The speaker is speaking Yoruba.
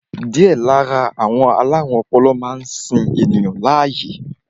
Díẹ̀ lára àwọn alárùn ọpọlọ máa ń sin ènìyàn láàyè